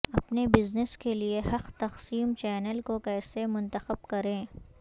اپنے بزنس کے لئے حق تقسیم چینل کو کیسے منتخب کریں